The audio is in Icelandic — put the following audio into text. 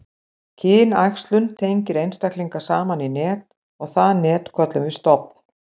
kynæxlun tengir einstaklinga saman í net og það net köllum við stofn